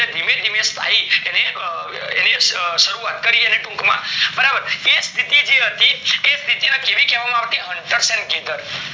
એટલે ધીમે ધીમે સ્થાયી એને શરૂવાત કરી અને ટુક માં બરોબર એ સ્થિતિ હતી એ સ્થિતિ ને કેવી કહેવામાં આવતી huntersandgathers